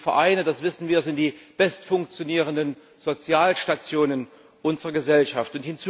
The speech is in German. Diese Vereine, das wissen wir, sind die bestfunktionierenden Sozialstationen unserer Gesellschaft.